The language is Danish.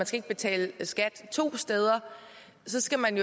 skal betale skat to steder skal man